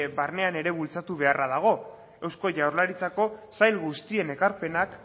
barnean ere bultzatu beharra dago eusko jaurlaritzako sail guztien ekarpenak